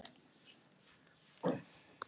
Ekkert vesen, bara gert.